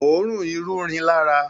Oòrùn irú rìn lara.